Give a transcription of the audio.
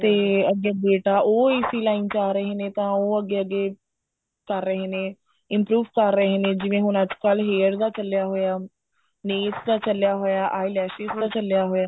ਤੇ ਅੱਗੇ ਬੇਟਾ ਉਹ ਇਸੀ line ਚ ਆ ਰਹੇ ਨੇ ਤਾਂ ਉਹ ਅੱਗੇ ਅੱਗੇ ਕਰ ਰਹੇ ਨੇ improve ਕਰ ਰਹੇ ਨੇ ਜਿਵੇਂ ਹੁਣ ਅੱਜਕਲ hair ਦਾ ਚੱਲਿਆ ਹੋਇਆ nails ਦਾ ਚੱਲਿਆ ਹੋਇਆ eye lashes ਦਾ ਚੱਲਿਆ ਹੋਇਆ